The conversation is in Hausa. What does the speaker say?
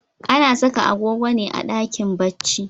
Ana saka agogo ne a dakin bacci.